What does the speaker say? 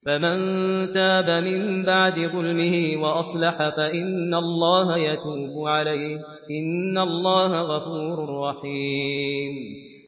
فَمَن تَابَ مِن بَعْدِ ظُلْمِهِ وَأَصْلَحَ فَإِنَّ اللَّهَ يَتُوبُ عَلَيْهِ ۗ إِنَّ اللَّهَ غَفُورٌ رَّحِيمٌ